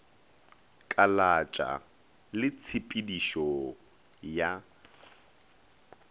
kalatša le tshe pedišo ya